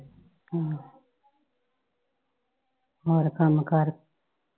ਹਮ ਹੋਰ ਕੰਮ ਕਾਰ?